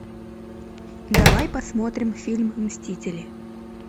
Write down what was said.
давай посмотрим фильм мстители